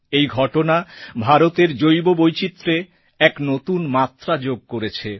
এই ঘটনা ভারতের জৈববৈচিত্র্যে এক নতুন মাত্রা যোগ করেছে